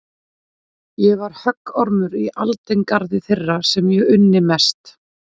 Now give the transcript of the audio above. Ég var höggormur í aldingarði þeirra sem ég unni mest.